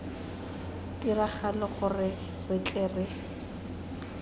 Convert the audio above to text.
tiragalo gore re tle re